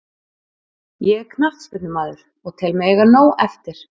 Ég er knattspyrnumaður og tel mig eiga nóg eftir.